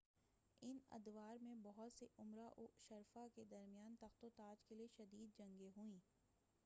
ان ادوار میں بہت سے امراء و شرفاء کے درمیان تخت و تاج کے لئے شدید جنگیں ہوئیں